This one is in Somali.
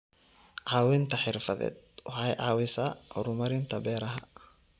Caawinta xirfadeed waxay caawisaa horumarinta beeraha.